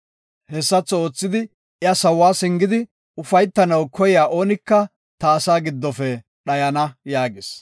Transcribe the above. Hessatho oothidi, iya sawuwa singidi ufaytanaw koyiya oonika, ta asaa giddofe dhayana” yaagis.